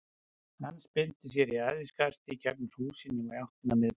Hann spyrnti sér í æðiskasti í gegnum húsin og í áttina að miðbænum.